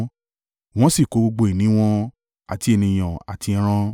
Wọ́n sì kó gbogbo ìní wọn, àti ènìyàn àti ẹran.